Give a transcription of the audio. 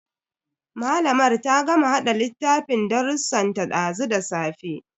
Malamar ta gama hada littafin darrusan ta dazu da safe.